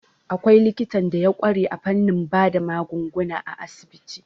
Akwai likitan da ya ƙware a fannin bada magunguna a asibiti.